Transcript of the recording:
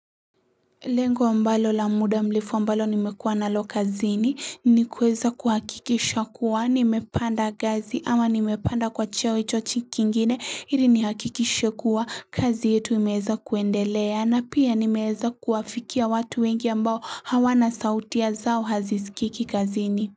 Lengo ambalo la muda mrefu ambalo nimekuwa nalo kazini ni kuweza kuhakikisha kuwa nimepanda ngazi ama nimepanda kwa cheo chochi kingine hili nihakikishe kuwa kazi yetu imeweza kuendelea na pia nimeweza kuwafikia watu wengi ambao hawana sauti zao hazisikiki kazini.